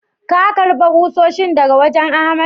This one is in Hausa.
Ka karba kusoshin daga wajen Ahmad?